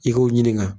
I k'o ɲininka